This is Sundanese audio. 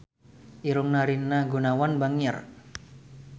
Irungna Rina Gunawan bangir